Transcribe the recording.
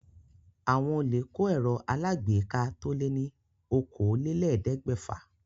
Àwọn olè kó ẹ̀rọ alágbèéká to lé ní okòólélẹ́ẹ̀ẹ́dẹ́gbẹ́fà.